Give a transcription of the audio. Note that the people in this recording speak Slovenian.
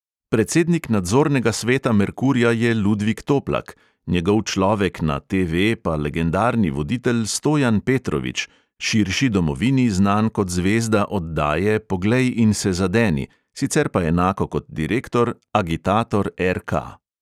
Predsednik nadzornega sveta merkurja je ludvik toplak, njegov človek na TV pa legendarni voditelj stojan petrovič, širši domovini znan kot zvezda oddaje poglej in se zadeni, sicer pa enako kot direktor agitator RK.